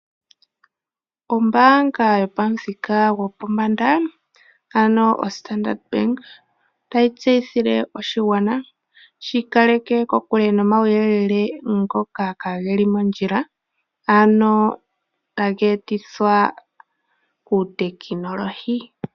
Ombaanga yopamuthika gopombanda, ano oStandard Bank otayi tseyithile oshigwana shi ikaleke kokule no mauyelele ngoka kaageli mondjila, ano tageetithwa kuutekinolohi.